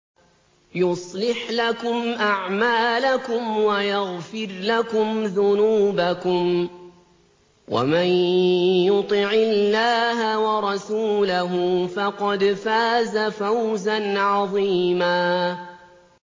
يُصْلِحْ لَكُمْ أَعْمَالَكُمْ وَيَغْفِرْ لَكُمْ ذُنُوبَكُمْ ۗ وَمَن يُطِعِ اللَّهَ وَرَسُولَهُ فَقَدْ فَازَ فَوْزًا عَظِيمًا